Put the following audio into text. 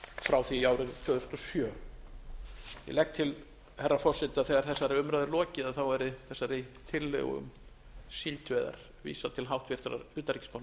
frá því árið tvö þúsund og sjö ég legg til herra forseti að þegar þessari umræðu er lokið verði þessari tillögu um síldveiðar vísað til háttvirtrar utanríkismálanefndar